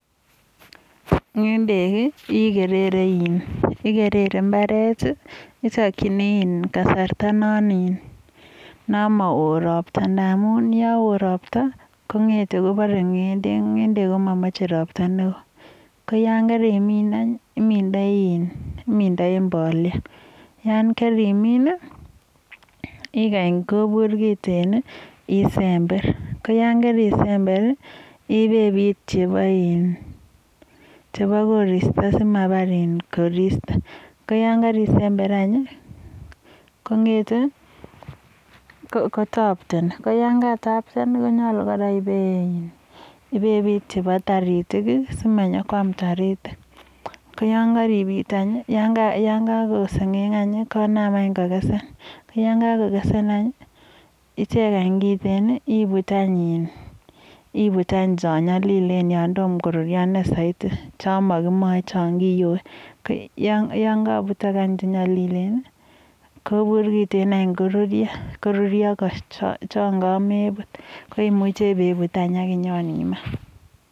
Ng'ende ikerere imbaret, itakchini kasarta non mao ropta namun yo oo ropta, kong'etei koporei ng'endek. Ng'endek komamachei ropta neo. Koyon karimin anyun. Imindoi mbolea, yon karimin, ikany kobur kiten, isember, ko yon karisember, ibebit chebo koristo simapar koristo. Koyon karisember anyun, kong'etei, kotaptani, koyon kakotaptan, konyolu kora ibebit chebo taritiet, simanyokoam toritik. Ko yon karibit anyun yon kakokesen, konam anyun kokesen. Yekakokesen anyun, icheny anyun kiteen ibut anyun chon nyalilen chon kiyoei. Chetom koruryo ine saiti yano kimochei chon kiyoi. Yon kakoputok anyun chenyalilen, kobur kiteen anyun koruryo chon kameput. Koimuchei yonibut anyun.